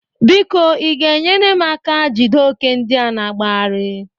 Biko ị ga-enyere m aka jide ókè ndịa na-agbagharị?